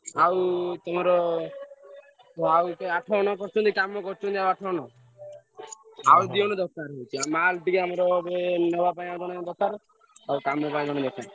ଆଉ ତମର ଆଉ ଏବେ ଆଠଜଣ ପଶିଛନ୍ତି କାମ କରୁଛନ୍ତି ଆଠ ଜଣ ଆଉ ଦି ଜଣ ଦରକାର ହଉଛି mall ଟିକେ ନବାପାଇଁ ଆମର ଜଣେ ଦରକାର ଆଉ କାମ ପାଇଁ ଜଣେ।